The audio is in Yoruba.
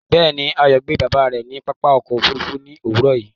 Bẹ́ẹ̀ni, Ayo gbe baba rẹ ni pápá ọkọ̀ òfurufú ni owurọ yìí